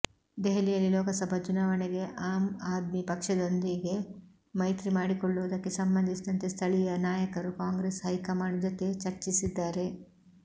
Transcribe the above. ದೆಹಲಿಯಲ್ಲಿ ಲೋಕಸಭಾ ಚುನವಾಣೆಗೆ ಆಮ್ ಆದ್ಮಿ ಪಕ್ಷದೊಂದಿಗೆ ಮೈತ್ರಿ ಮಾಡಿಕೊಳ್ಳುವುದಕ್ಕೆ ಸಂಬಂಧಿಸಿದಂತೆ ಸ್ಥಳೀಯ ನಾಯಕರು ಕಾಂಗ್ರೆಸ್ ಹೈಕಮಾಂಡ್ ಜೊತೆ ಚರ್ಚಿಸಿದ್ದಾರೆ